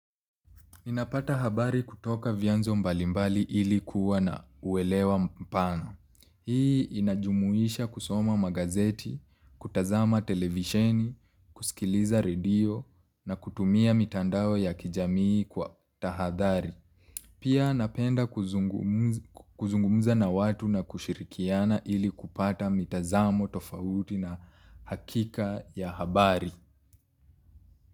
Ninapata habari kutoka vyanzo mbalimbali ili kuwa na uelewa mpano. Hii inajumuisha kusoma magazeti, kutazama televisheni, kusikiliza redio na kutumia mitandao ya kijamii kwa tahadhari. Pia napenda kuzungumza na watu na kushirikiana ili kupata mitazamo tofauti na hakika ya habari.